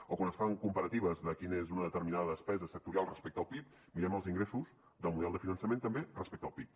o quan es fan comparatives de quina és una determinada despesa sectorial respecte al pib mirem els ingressos del model de finançament també respecte al pib